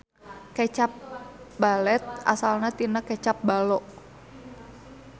Kecap balet asalna tina kecap ballo.